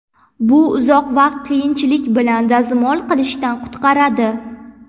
Bu uzoq vaqt qiyinchilik bilan dazmol qilishdan qutqaradi.